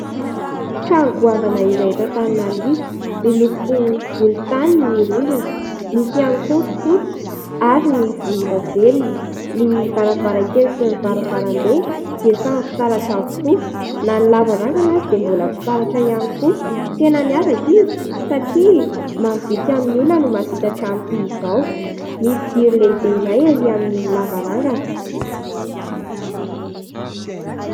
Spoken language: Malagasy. Trano goavana iray eto Antananarivo, miloko volontany ny rindrina, misy ihany koa ny fotsy ary volondavenona. Ny varavarankely sy ny varavarambe dia samy fitaratra avokoa. Na ny lavarangana ary dia fitaratra ihany koa. Tena miavaka izy satria vitsy amin'ny olona no mahavita trano toy izao. Misy jiro lehibe iray arỳ amin'ny lavarangana.